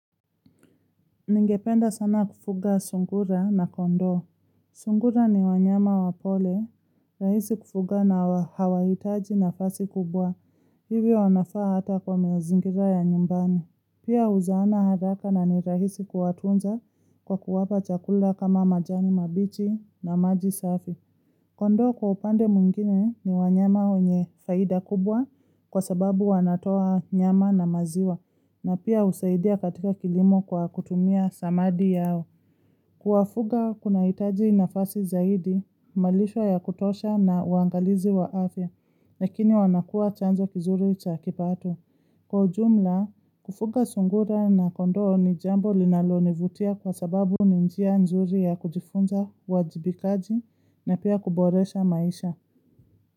Ningependa sana kufuga sungura na kondoo. Sungura ni wanyama wapole, rahisi kufuga na hawaitaji nafasi kubwa. Hivyo wanafaa hata kwa mazingira ya nyumbani. Pia huzaana haraka na ni rahisi kuwatunza kwa kuwapa chakula kama majani mabichi na maji safi. Kondo kwa upande mwingine ni wanyama yenye faida kubwa kwa sababu wanatoa nyama na maziwa na pia husaidia katika kilimo kwa kutumia samadi yao. Kuwafuga kuna hitaji nafasi zaidi, malishwa ya kutosha na uangalizi wa afya, nakini wanakua chanzo kizuri cha kipato. Kwa jumla, kufuga sungura na kondo ni jambo linalonivutia kwa sababu ni njia nzuri ya kujifunza wajibikaji na pia kuboresha maisha.